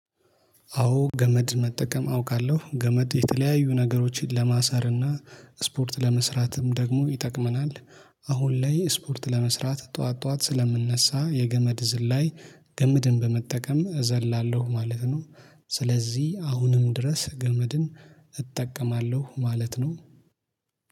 አዎ ገመድ መጠቀም አውቃለሁ ገመድ የተለያዩ ነገሮችን ለማሰርና ስፖርት ለመስራትም ደግሞ ይጠቅመናል። አሁን ላይ ስፖርት ለመስራት ጠዋት ጠዋት ስለምነሳ የገመድ ዝላይ ገምድን በመጠቀም እዘላለሁ ማለት ነው። ስለዚህ አሁንም ድረስ ገመድን እጠቀማለሁ ማለት ነው